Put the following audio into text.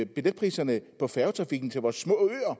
billetpriserne på færgetrafikken til vores små